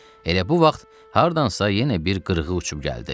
Elə bu vaxt hardansa yenə bir qırğı uçub gəldi.